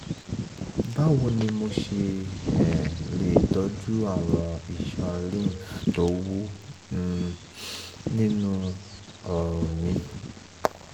báwo ni mo ṣe um lè tọ́jú àwọn iṣan lymph tó wú um nínú ọrùn um mi?